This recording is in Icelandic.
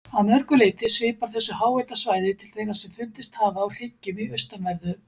Að mörgu leyti svipar þessu háhitasvæði til þeirra sem fundist hafa á hryggjum í austanverðu